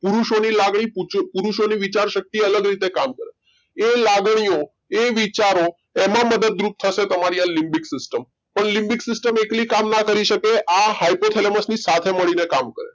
પુરુષો ની લાગણી પુરુષો ની વિચાર શક્તિ સ્ત્રી થી અલગ રીતે કામ કરે એ લાગણીઓ એ વિચારો એમાં મદદ રૂપ થશે તમારી આ લીબીક system પણ લીબીક system એકલી કામ ના કરી શકે આ hypothalamus ની સાથે મળીને કામ કરે છે